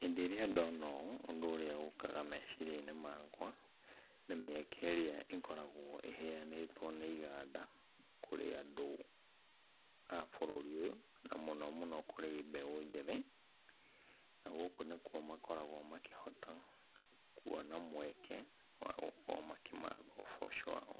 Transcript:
Hindĩ ĩrĩa ndona ũũ ũndũ ũrĩa ũkaga meciria-inĩ makwa, nĩ mĩeke ĩrĩa ĩkoragwo ĩheanĩtwo nĩ iganda kũrĩ andũ a bũrũri ũyũ, na mũno mũno kũrĩ mbeũ njĩthĩ. Na gũkũ nĩkuo makoragwo makĩhota kuona mweke wa gũkorwo makĩmatha ũboco wao.